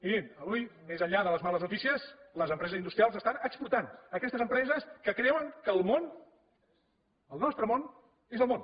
mirin avui més enllà de les males notícies les empreses industrials estan exportant aquestes empreses que creuen que el món el nostre món és el món